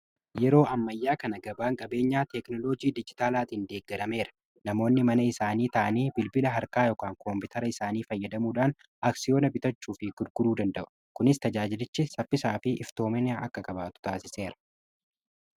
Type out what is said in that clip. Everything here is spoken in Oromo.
Yeroo ammayyaa kana gabaan qabeenyaa teeknoloojii dijitaalaatiin deeggadameera. Namoonni mana isaanii ta'anii bilbila harkaa fi koompitara isaanii fayyadamuudhaan aksiyoona bitachuu fi gurguruu danda'u kunis tajaajilichi saffisaa fi iftoomini akka qabaatu taasiseera.